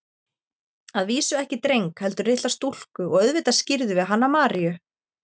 Að vísu ekki dreng, heldur litla stúlku og auðvitað skírðum við hana Maríu.